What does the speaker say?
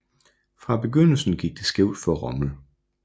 Fra begyndelsen gik det skævt for Rommel